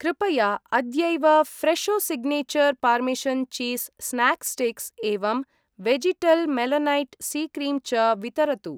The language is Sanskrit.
कृपया अद्यैव Fresho signature parmesan cheese snack sticks एवं वेजिटल् मेलनैट् सी क्रीम् च वितरतु।